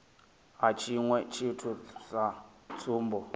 ha tshiṅwe tshithu sa tsumbo